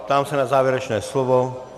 Ptám se na závěrečné slovo.